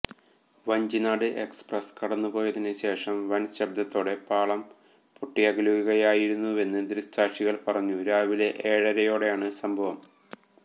Vanchinad express കടന്നു പോയതിനു ശേഷം വന് ശബ്ദത്തോടെ പാളം പൊട്ടിയകലുകയായിരുന്നുവെന്നു ദൃക്സാക്ഷികള് പറഞ്ഞു രാവിലെ ഏഴരയോടെയാണ് സംഭവം